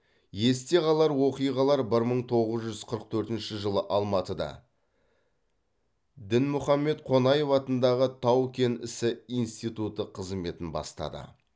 есте қалвр оқиғалар бір мың тоғыз жүз қырық төртінші жылы алматыда дінмұхамед қонаев атындағы тау кен ісі институты қызметін бастады